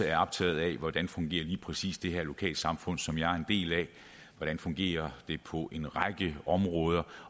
er optaget af hvordan lige præcis det lokalsamfund som de er en del af fungerer på en række områder